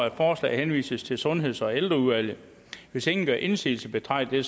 at forslaget henvises til sundheds og ældreudvalget hvis ingen gør indsigelse betragter